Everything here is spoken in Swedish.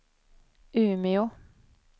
Umeå